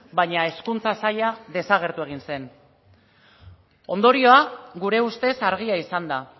baina hezkuntza saila desagertu egin zen ondorioa gure ustez argia izan da